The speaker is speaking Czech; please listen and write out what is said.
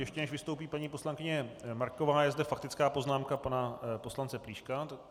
Ještě než vystoupí paní poslankyně Marková, je zde faktická poznámka pana poslance Plíška.